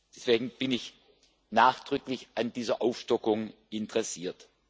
Deswegen bin ich nachdrücklich an dieser Aufstockung interessiert.